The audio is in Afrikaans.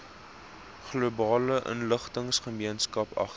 globale inligtinggemeenskap agter